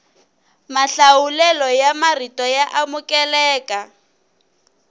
mahlawulelo ya marito ya amukeleka